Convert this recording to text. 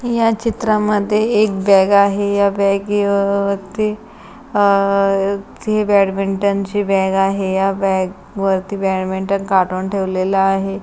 या चित्रामध्ये एक बॅग आहे या बॅगी वरती अह ही बॅडमिंटन ची बॅग आहे या बॅग वरती बॅडमिंटन काढून ठेवलेल आहे.